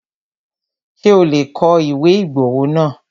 Ṣé o lè kọ ìwé ìgbowó náà?